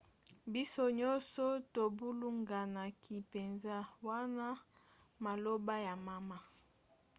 biso nyonso tobulunganaki mpenza wana maloba ya mama